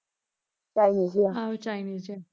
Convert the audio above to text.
ਆਹੋ ਚਾਇਨੀਸ ਜਿਹਾ